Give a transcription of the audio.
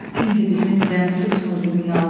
İndi bizim qəmi tutmur dünyalar.